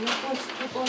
Yaxşı, bu yerə düşür.